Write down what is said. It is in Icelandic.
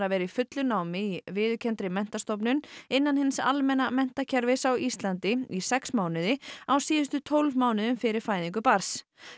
vera í fullu námi í viðurkenndri menntastofnun innan hins almenna menntakerfis á Íslandi í sex mánuði á síðustu tólf mánuðum fyrir fæðingu barns